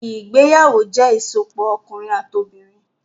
Ìgbéyàwó jẹ ìsopọ̀ ọkunrin ati obinrin.